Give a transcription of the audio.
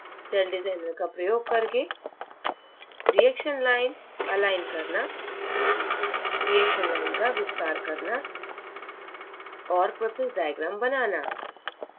cell designer का प्रयोग करके reaction लाइन अलाइन करना reaction लाइन का विस्तार करना और process diagram बनाना